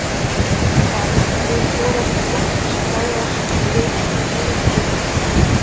Gunnar: Mun forysta flokksins bregðast við þessari niðurstöðu á einhvern hátt?